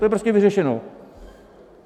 To je prostě vyřešeno.